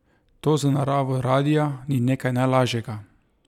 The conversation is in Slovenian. To za naravo radia ni nekaj najlažjega.